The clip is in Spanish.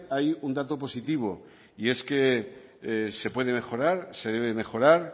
hay un dato positivo y es que se puede mejorar se debe mejorar